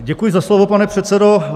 Děkuji za slovo, pane předsedo.